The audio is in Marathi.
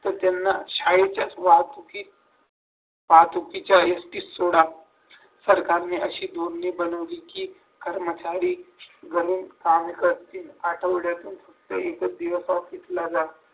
तर त्यांना शाळेच्या वाहतुकीत वाहतुकीच्या एसटी सोडा सरकारने असे धोरणे बनवली की कर्मचारी घरून काम करतील आठवड्यातून फक्त एकच दिवस ऑफिसला जा